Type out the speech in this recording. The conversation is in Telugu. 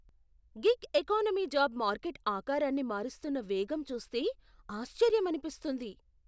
గిగ్ ఎకానమీ జాబ్ మార్కెట్ ఆకారాన్ని మారుస్తున్న వేగం చూస్తే ఆశ్చర్యమనిపిస్తుంది.